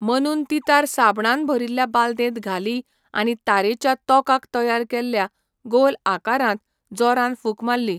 मनून ती तार साबणान भरिल्ल्या बालदेंत घाली आनी तारेच्या तोंकाक तयार केल्ल्या गोल आकारांत जोरान फूंक मारली.